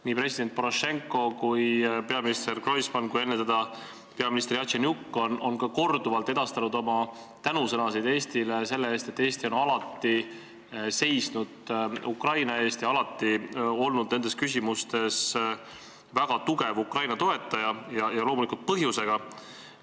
Nii president Porošenko kui ka peaminister Groisman ning enne teda peaminister Jatsenjuk on korduvalt edastanud oma tänusõnasid Eestile selle eest, et Eesti on alati seisnud Ukraina eest ja alati olnud nendes küsimustes väga tugev Ukraina toetaja ja loomulikult põhjusega.